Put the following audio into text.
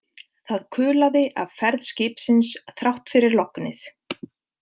Það kulaði af ferð skipsins þrátt fyrir lognið.